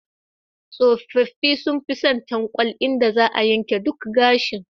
Tsofaffi sun fi son tankwal, inda za a yanke duk gashi.